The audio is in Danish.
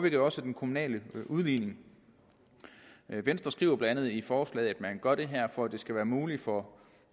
jo også af den kommunale udligning venstre skriver blandt andet i forslaget at man gør det her for at det skal være muligt for